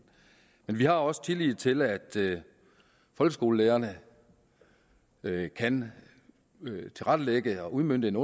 men vi har også tillid til at folkeskolelærerne kan tilrettelægge og udmønte en